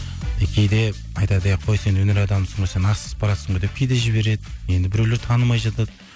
кейде айтады әй қой сен өнер адамысың ғой сен асығып баратсың ғой деп кейде жібереді енді біреулер танымай жатады